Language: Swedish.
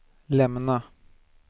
lämna